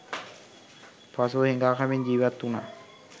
පසුව, හිඟා කමින් ජීවත් වුණා.